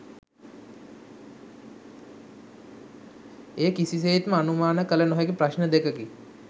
එය කිසිසේත්ම අනුමාන කල නොහැකි ප්‍රශ්න දෙකකි.